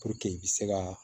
i bɛ se ka